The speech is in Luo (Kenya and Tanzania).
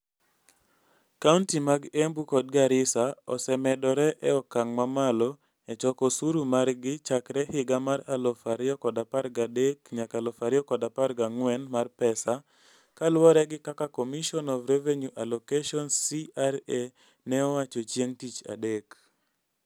Kaunti mag Embu kod Garissa osemedore e okang' mamalo e choko osuru margi chakre higa mar 2013/14 mar pesa, kaluwore gi kaka Commission of Revenue Allocation (CRA) ne owacho chieng' Tich Adek.